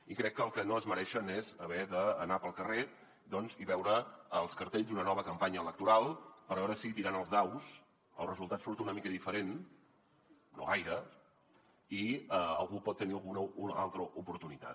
i crec que el que no es mereixen és haver d’anar pel carrer i veure els cartells d’una nova campanya electoral per veure si tirant els daus el resultat surt una mica diferent no gaire i algú pot tenir alguna altra oportunitat